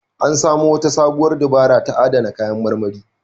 An samo wata sabuwar dabara ta adana kayan marmari.